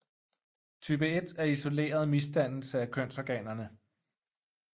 Type I er isoleret misdannelse af kønsorganerne